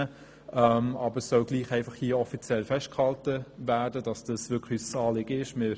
Doch hier soll trotzdem offiziell festgehalten werden, dass dies wirklich ein Anliegen ist.